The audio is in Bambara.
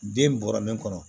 Den bɔra min kɔnɔ